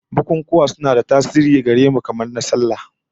Bukunkuna suna da tasiri gare mu, kamar na sallah